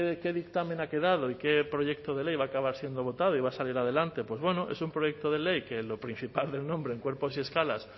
qué dictamen ha quedado y qué proyecto de ley va a acabar siendo votado y va a salir adelante pues bueno es un proyecto de ley que en lo principal del nombre en cuerpos y escalas